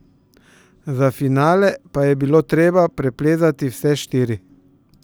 Za finale pa je bilo treba preplezati vse štiri.